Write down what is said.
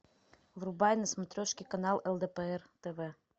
врубай на смотрешке канал лдпр тв